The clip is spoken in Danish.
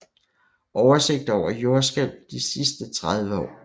Oversigt over jordskælv de sidste 30 år